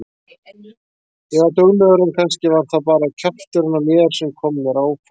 Ég var duglegur en kannski var það bara kjafturinn á mér sem kom mér áfram.